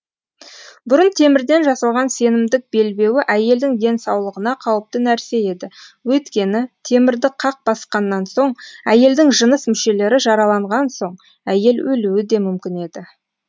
бұрын темірден жасалған сенімдік белбеуі әйелдің денсаулығына қауіпті нәрсе еді өйткені темірді қақ басқаннан соң әйелдің жыныс мүшелері жараланған соң әйел өлуі да мүмкін еді